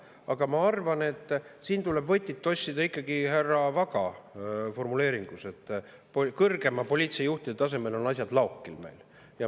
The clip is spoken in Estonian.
Aga ma arvan, et siin tuleb võtit otsida ikkagi härra Vaga formuleeringust, et kõrgema poliitilise juhtimise tasemel on meil asjad laokil.